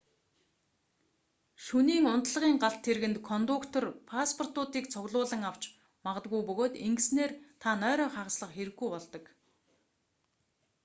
шөнийн унтлагын галт тэргэнд кондуктор паспортуудыг цуглуулан авч магадгүй бөгөөд ингэснээр та нойроо хагаслах хэрэггүй болдог